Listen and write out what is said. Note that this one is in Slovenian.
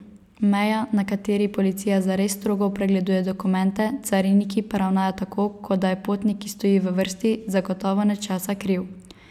Meja, na kateri policija zares strogo pregleduje dokumente, cariniki pa ravnajo tako, kot da je potnik, ki stoji v vrsti, zagotovo nečesa kriv.